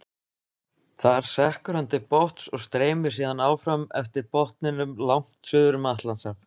Þar sekkur hann til botns og streymir síðan áfram eftir botninum langt suður um Atlantshaf.